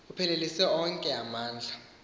uphelelise onke amandla